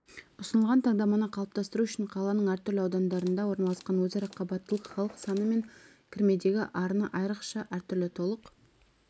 ұсынылған таңдаманы қалыптастыру үшін қаланың әртүрлі аудандарында орналасқан өзара қабаттылық халық саны мен кірмедегі арыны айрықша әртүрлі толық